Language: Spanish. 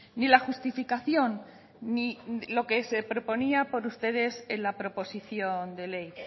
ni la justificación ni lo que se proponía por ustedes en la proposición de ley